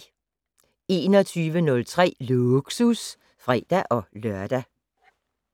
21:03: Lågsus (fre-lør)